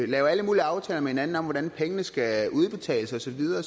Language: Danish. lave alle mulige aftaler med hinanden om hvordan pengene skal udbetales og så videre